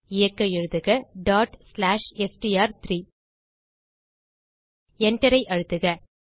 இயக்க எழுதுக str3 Enter ஐ அழுத்துக